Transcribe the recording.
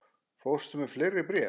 Fórstu með fleiri bréf?